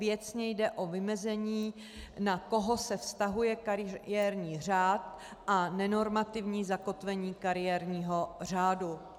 Věcně jde o vymezení, na koho se vztahuje kariérní řád a nenormativní zakotvení kariérního řádu.